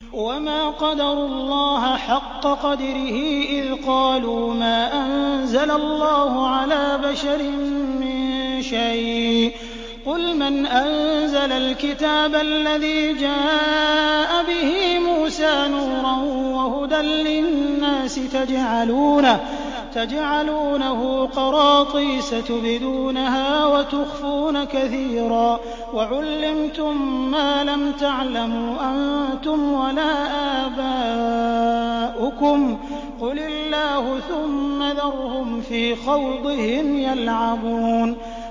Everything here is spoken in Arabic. وَمَا قَدَرُوا اللَّهَ حَقَّ قَدْرِهِ إِذْ قَالُوا مَا أَنزَلَ اللَّهُ عَلَىٰ بَشَرٍ مِّن شَيْءٍ ۗ قُلْ مَنْ أَنزَلَ الْكِتَابَ الَّذِي جَاءَ بِهِ مُوسَىٰ نُورًا وَهُدًى لِّلنَّاسِ ۖ تَجْعَلُونَهُ قَرَاطِيسَ تُبْدُونَهَا وَتُخْفُونَ كَثِيرًا ۖ وَعُلِّمْتُم مَّا لَمْ تَعْلَمُوا أَنتُمْ وَلَا آبَاؤُكُمْ ۖ قُلِ اللَّهُ ۖ ثُمَّ ذَرْهُمْ فِي خَوْضِهِمْ يَلْعَبُونَ